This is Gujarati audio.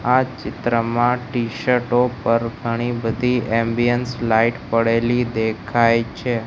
આ ચિત્રમાં ટીશર્ટો ઉપર ઘણી બધી એમબીએન્સ લાઈટ પડેલી દેખાય છે.